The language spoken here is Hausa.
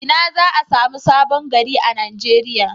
Ina za a samu Sabon gari a Nigeriya.